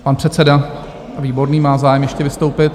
Pan předseda Výborný má zájem ještě vystoupit.